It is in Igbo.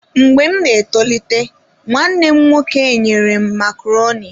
Mgbe m na-etolite, nwanne m nwoke enyere m macaroni.